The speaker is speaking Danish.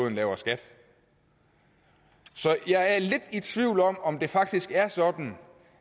en lavere skat så jeg er lidt i tvivl om om det faktisk er sådan